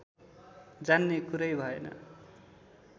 जान्ने कुरै भएन